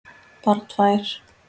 Bara tvær.